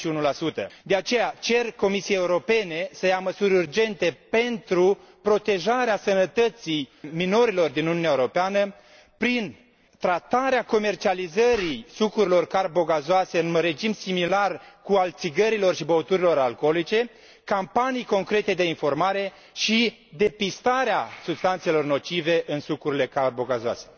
61. De aceea cer Comisiei Europene să ia măsuri urgente pentru protejarea sănătății minorilor din Uniunea Europeană prin tratarea comercializării sucurilor carbogazoase în regim similar cu al țigărilor și băuturilor alcoolice, campanii concrete de informare și depistarea substanțelor nocive în sucurile carbogazoase.